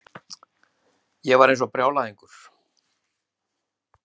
Ég var eins og brjálæðingur.